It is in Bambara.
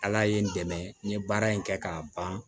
Ala ye n dɛmɛ n ye baara in kɛ k'a ban